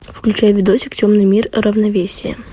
включай видосик темный мир равновесие